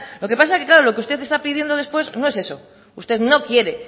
lo que pasa es que claro lo que usted está pidiendo después no es eso usted no quiere